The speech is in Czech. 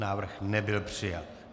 Návrh nebyl přijat.